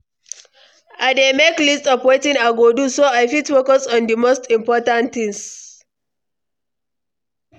I dey make list of wetin i go do, so i fit focus on di most important things.